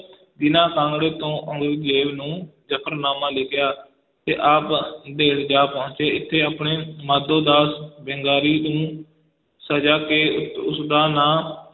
ਦੀਨਾ ਕਾਂਗੜੇ ਤੋਂ ਔਰੰਗਜੇਬ ਨੂੰ ਜਫ਼ਰਨਾਮਾ ਲਿਖਿਆ ਤੇ ਆਪ ਨੰਦੇੜ ਜਾ ਪਹੁੰਚੇ, ਇਥੇ ਆਪਨੇ ਮਾਧੋ ਦਾਸ ਬੈਂਗਾਰੀ ਨੂੰ ਸਿੰਘ ਸਜਾ ਕੇ ਉਸ ਦਾ ਨਾਂ